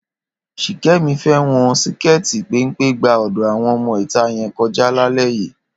Ṣìkẹ́mi fẹ́ wọn síkẹ́ẹ̀tì péńpé gba ọ̀dọ̀ àwọn ọmọ ìta yẹn kọjá lálẹ́ yìí.